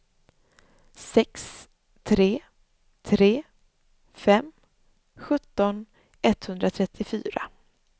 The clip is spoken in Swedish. sex tre tre fem sjutton etthundratrettiofyra